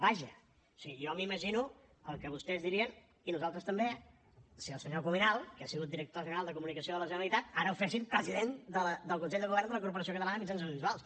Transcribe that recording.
vaja o sigui jo m’imagino el que vostès dirien i nosaltres també si al senyor cuminal que ha sigut director general de comunicació de la generalitat ara el fessin president del consell de govern de la corporació catalana de mitjans audiovisuals